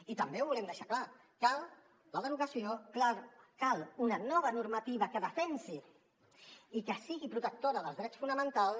i també ho volem deixar clar cal la derogació cal una nova normativa que defensi i que sigui protectora dels drets fonamentals